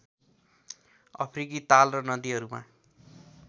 अफ्रिकी ताल र नदीहरूमा